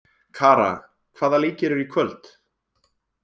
Kara, hvaða leikir eru í kvöld?